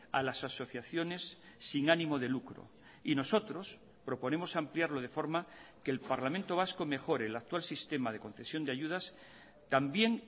a las asociaciones sin ánimo de lucro y nosotros proponemos ampliarlo de forma que el parlamento vasco mejore el actual sistema de concesión de ayudas también